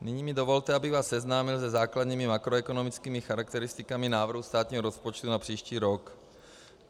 Nyní mi dovolte, abych vás seznámil se základními makroekonomickými charakteristikami návrhu státního rozpočtu na příští rok.